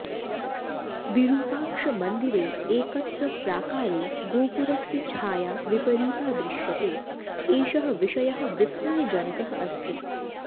विरूपाक्षमन्दिरे एकत्र प्राकारे गोपुरस्य छाया विपरीता दृश्यते एषः विषयः विस्मयजनकः अस्ति